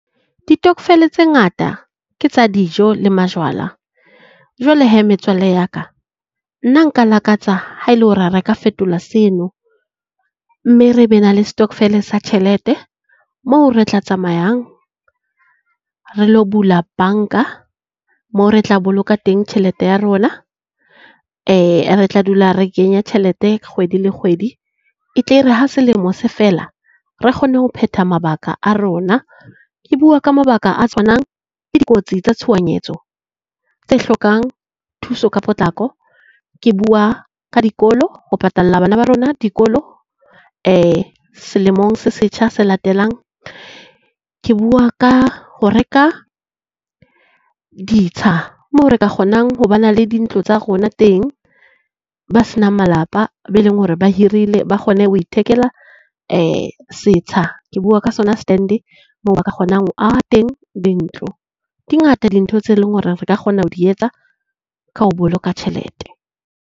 Ditokvel tse ngata ke tsa dijo le majwala. Jwale hee metswalle ya ka nna nka lakatsa ha ele hore revka fetola seno, mme re be na le stockvel sa tjhelete moo re tla tsamayang re lo bula banka moo re tla boloka teng tjhelete ya rona e re tla dula re kenya tjhelete kgwedi le kgwedi. E tle e re ha selemo se fela re kgone ho phetha mabaka a rona. Ke bua ka mabaka a tshwanang le dikotsi tsa tshohanyetso tse hlokang thuso ka potlako. Ke bua ka dikolo, ho patalla bana ba rona dikolo selemong se setjha se latelang. Ke bua ka ho reka ditsha moo re ka kgonang ho ba na le dintlo tsa rona teng, ba senang malapa be leng hore ba hirile ba kgone ho ithekela setsha. Ke bua ka sona stand moo ba ka kgonang ho aha teng dintlo. Di ngata dintho tse leng hore re ka kgona ho di etsa ka ho boloka tjhelete.